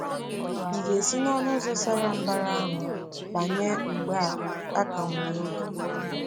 Ị̀ ga-esi na “ọnụ ụzọ sara mbara” ahụ banye mgbe a ka nwere oge?